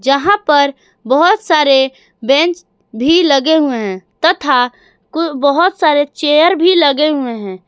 जहा पर बहोत सारे बेंच भी लगे हुए हैं तथा बहोत सारे चेयर भी लगे हुए हैं।